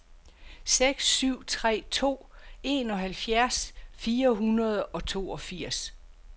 seks syv tre to enoghalvfjerds fire hundrede og toogfirs